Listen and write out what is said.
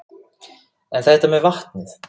En þetta með vatnið?